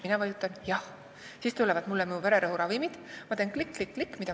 " Mina nõustun, klõpsan arvutis ja siis tuleb mulle uus kogus vererõhuravimeid, st teade selle kohta läheb sinna kuhu vaja.